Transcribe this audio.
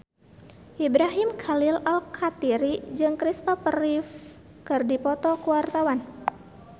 Ibrahim Khalil Alkatiri jeung Kristopher Reeve keur dipoto ku wartawan